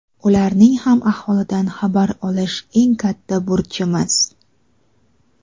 Ularning ham ahvolidan xabar olish — eng katta burchimiz.